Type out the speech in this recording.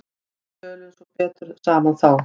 Við tölum svo betur saman þá.